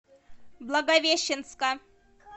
благовещенска